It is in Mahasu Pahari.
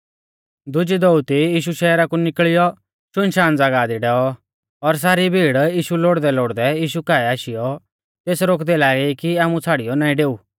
दुजी दोअती यीशु शहरा कु निकल़ियौ शुनशान ज़ागाह दी डैऔ और सारी भीड़ यीशु लोड़दैलोड़दै यीशु काऐ आशीयौ तेस रोकदै लागी कि आमु छ़ाड़ियौ नाईं डेऊ